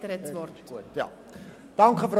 Etter hat das Wort.